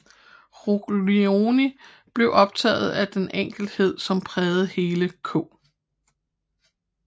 Ruglioni blev optaget af den enkelhed som prægede hele K